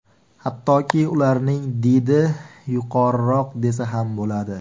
Hattoki ularning didi yuqoriroq desa ham bo‘ladi.